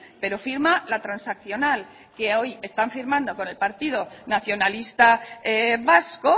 pero firma la transaccional que hoy están firmando con el partido nacionalista vasco